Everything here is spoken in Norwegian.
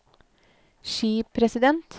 skipresident